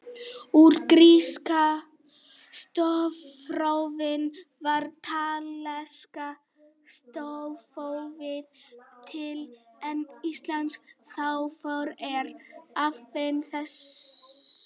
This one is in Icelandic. Úr gríska stafrófinu varð latneska stafrófið til en íslenska stafrófið er afbrigði þess.